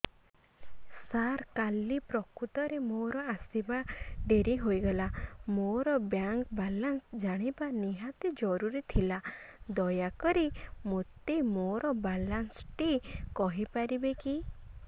ସାର କାଲି ପ୍ରକୃତରେ ମୋର ଆସିବା ଡେରି ହେଇଗଲା ମୋର ବ୍ୟାଙ୍କ ବାଲାନ୍ସ ଜାଣିବା ନିହାତି ଜରୁରୀ ଥିଲା ଦୟାକରି ମୋତେ ମୋର ବାଲାନ୍ସ ଟି କହିପାରିବେକି